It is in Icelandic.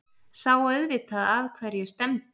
Sá auðvitað að hverju stefndi.